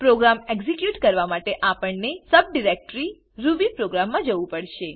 programme execute કરવા માટે આપણને સબડિરેક્ટરી રૂબીપ્રોગ્રામ માં જવું પડશે